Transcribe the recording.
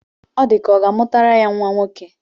Ọ dị ka ọ ga-amụtara ya nnwa nwoke